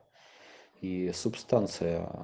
и субстанция